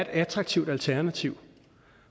attraktive alternativ